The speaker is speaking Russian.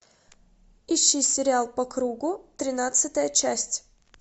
ищи сериал по кругу тринадцатая часть